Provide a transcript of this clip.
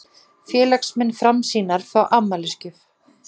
Félagsmenn Framsýnar fá afmælisgjöf